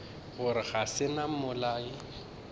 gore ga se nna mmolai